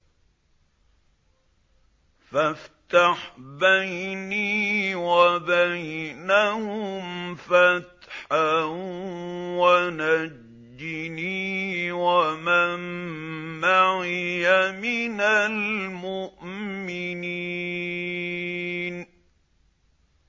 فَافْتَحْ بَيْنِي وَبَيْنَهُمْ فَتْحًا وَنَجِّنِي وَمَن مَّعِيَ مِنَ الْمُؤْمِنِينَ